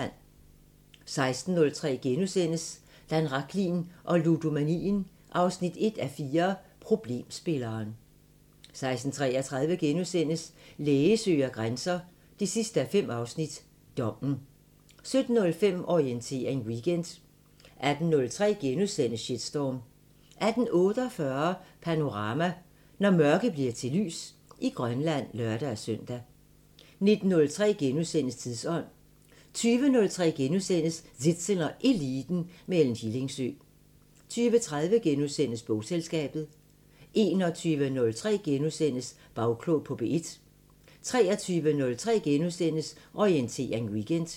16:03: Dan Rachlin og ludomanien 1:4 – Problemspilleren * 16:33: Læge søger grænser 5:5 – Dommen * 17:05: Orientering Weekend 18:03: Shitstorm * 18:48: Panorama: Når mørke bliver til lys i Grønland (lør-søn) 19:03: Tidsånd * 20:03: Zissel og Eliten: Med Ellen Hillingsø * 20:30: Bogselskabet * 21:03: Bagklog på P1 * 23:03: Orientering Weekend *